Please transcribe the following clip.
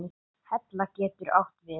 Hella getur átt við